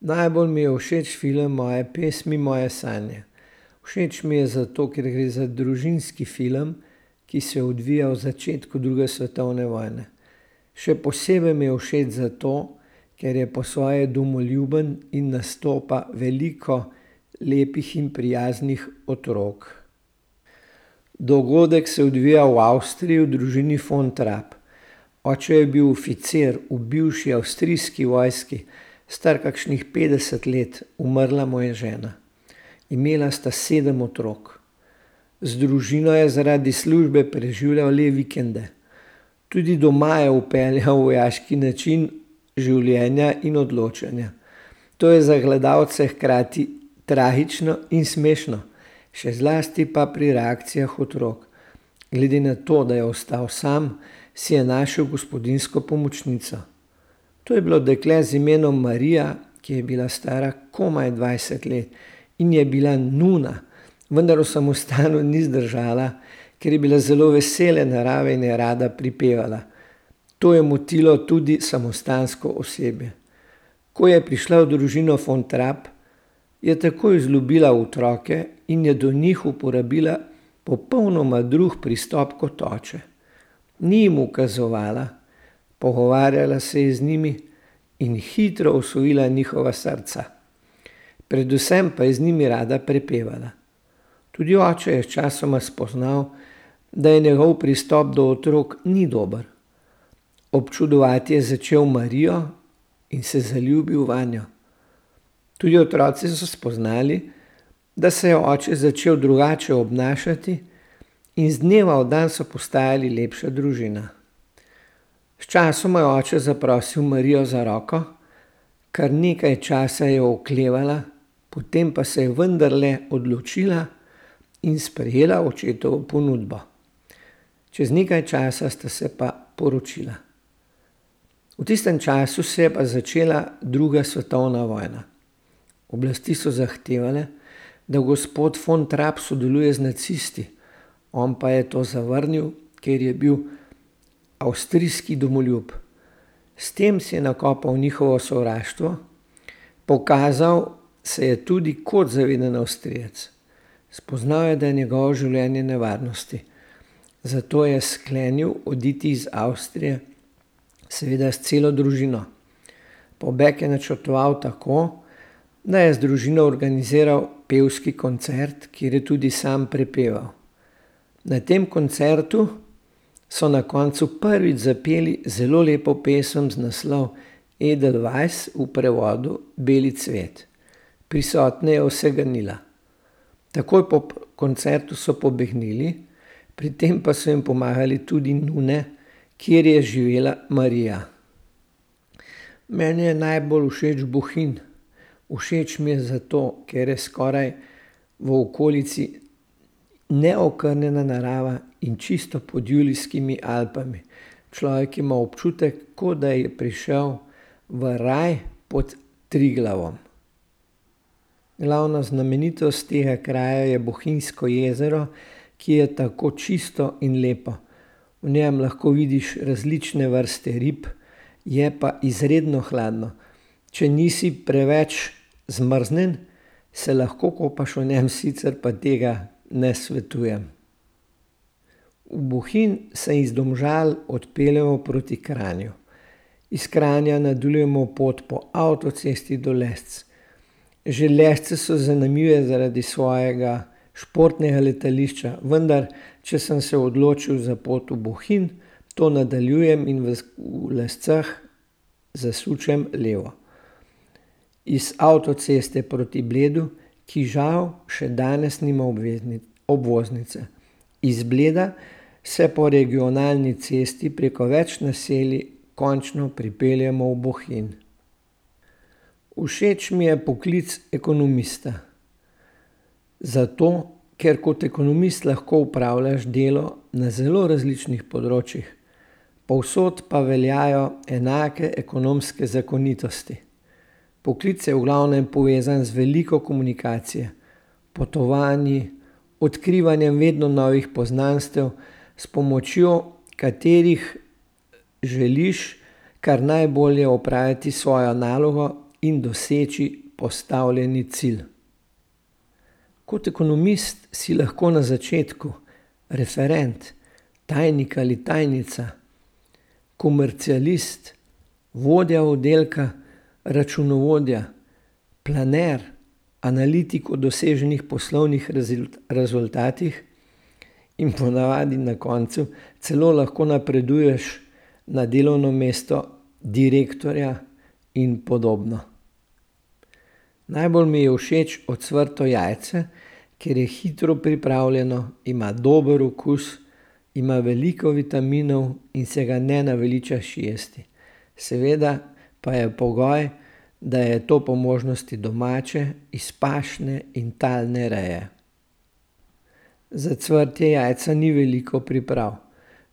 Najbolj mi je všeč film Moje pesmi moje sanje. Všeč mi je zato, ker gre za družinski film, ki se je odvijal v začetku druge svetovne vojne. Še posebej mi je všeč zato, ker je po svoje domoljuben in nastopa veliko lepih in prijaznih otrok. Dogodek se odvija v Avstriji v družini fon Trapp. Oče je bil oficir v bivši avstrijski vojski, star kakšnih petdeset let. Umrla mu je žena. Imela sta sedem otrok. Z družino je zaradi službe preživljal le vikende. Tudi doma je vpeljal vojaški način življenja in odločanja. To je za gledalce hkrati tragično in smešno. Še zlasti pa pri reakcijah otrok. Glede na to, da je ostal sam, si je našel gospodinjsko pomočnico. To je bilo dekle z imenom Marija, ki je bila stara komaj dvajset let, in je bila nuna. Vendar v samostanu ni zdržala, ker je bila zelo vesele narave in je rada prepevala. To je motilo tudi samostansko osebje. Ko je prišla v družino von Trapp, je takoj vzljubila otroke in je do njih uporabila popolnoma drug pristop kot oče. Ni jim ukazovala, pogovarjala se je z njimi, in hitro osvojila njihova srca. Predvsem pa je z njimi rada prepevala. Tudi oče je sčasoma spoznal, da je njegov pristop do otrok, ni dober. Občudovati je začel Marijo in se je zaljubil vanjo. Tudi otroci so spoznali, da se je oče začel drugače obnašati, in z dneva v dan so postajali lepša družina. Sčasoma je oče zaprosil Marijo za roko, kar nekaj časa je oklevala, potem pa se je vendarle odločila in sprejela očetovo ponudbo. Čez nekaj časa sta se pa poročila. V tistem času pa se je začela druga svetovna vojna. Oblasti so zahtevale, da gospod von Trapp sodeluje z nacisti. On pa je to zavrnil, ker je bil avstrijski domoljub. S tem si je nakopal njihovo sovraštvo, pokazal se je tudi kot zaveden Avstrijec. Spoznal je, da je njegovo življenje v nevarnosti. Zato je sklenili oditi iz Avstrije. Seveda s celo družino. Pobeg je načrtoval tako, da je z družino organiziral pevski koncert, kjer je tudi sam prepeval. Na tem koncertu so na koncu prvič zapeli zelo lepo pesem z naslovom Edelweiss v prevodu Beli cvet. Prisotne je vse ganila. Takoj po koncertu so pobegnili, pri tem pa so jim pomagale tudi nune, kjer je živela Marija. Meni je najbolj všeč Bohinj. Všeč mi je zato, ker je skoraj v okolici neokrnjene narave in čisto pod Julijskimi Alpami. Človek ima občutek, kot da je prišel v raj pod Triglavom. Glavna znamenitost tega kraja je Bohinjsko jezero, ki je tako čisto in lepo. V njem lahko vidiš različne vrste rib, je pa izredno hladno. Če nisi preveč zmrznjen, se lahko kopaš v njem, sicer pa tega ne svetujem. V Bohinj se iz Domžal odpeljemo proti Kranju. Iz Kranja nadaljujemo pot po avtocesti do Lesc. Že Lesce so zanimive zaradi svojega športnega letališča, vendar če sem se odločil za pot v Bohinj, to nadaljujem in v Lescah zasučem levo. Iz avtoceste proti Bleda, ki žal še danes nima obvoznice. Iz Bleda se po regionalni cesti preko več naselij končno pripeljemo v Bohinj. Všeč mi je poklic ekonomista. Zato, ker kot ekonomist lahko opravljaš delo na zelo različnih področjih. Povsod pa veljajo enake ekonomske zakonitosti. Poklic je v glavnem povezan z veliko komunikacije, potovanji, odkrivanjem vedno novih poznanstev, s pomočjo katerih želiš kar najbolje opraviti svojo nalogo in doseči postavljeni cilj. Kot ekonomist si lahko na začetku referent, tajnik ali tajnica. Komercialist, vodja oddelka, računovodja, planer, analitik od doseženih poslovnih rezultatih in ponavadi na koncu celo lahko napreduješ na delovno mesto direktorja in podobno. Najbolj mi je všeč ocvrto jajce, ker je hitro pripravljeno, ima dober okus, ima veliko vitaminov in se ga ne naveličaš jesti. Seveda pa je pogoj, da je to po možnosti domače, iz pašne in talne reje. Za cvrtje jajca ni veliko priprav.